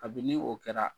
Kabini o kɛra